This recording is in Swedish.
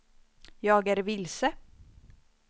jag är vilse